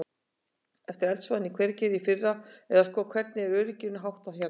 Eftir eldsvoðann í Hveragerði í fyrra að sko, hvernig er örygginu háttað hérna?